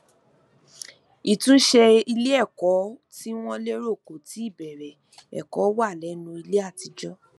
ìtúnṣe ileẹkọ tí wọn lérò kò tíì bẹrẹ ẹkọ wà lẹnu ile àtijọ